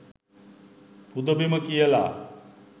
පුද බිම කියලා.